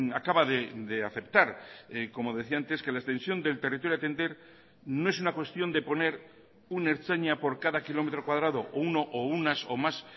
acaba de aceptar como decía antes que la extensión del territorio a atender no es una cuestión de poner un ertzaina por cada kilómetro cuadrado o uno o unas o más